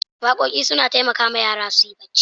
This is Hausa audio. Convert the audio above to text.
Waƙoƙi suna taimakawa yara su yi bacci.